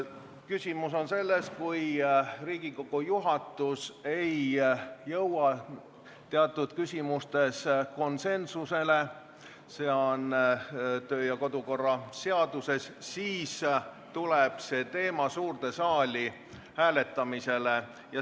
Küsimus on selles, et kui Riigikogu juhatus ei jõua teatud küsimustes konsensusele, siis ütleb kodu- ja töökorra seadus, et see teema läheb suurde saali hääletamisele.